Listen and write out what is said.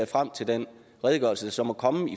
frem til den redegørelse som må komme